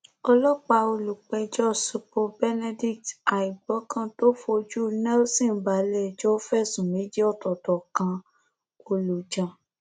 ọlọpàá olùpẹjọ supol benedict aìgbọkàn tó fojú nelson balẹẹjọ fẹsùn méjì ọtọọtọ kan olùjàn